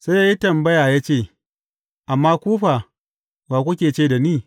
Sai ya yi tambaya ya ce, Amma ku fa, wa kuke ce da ni?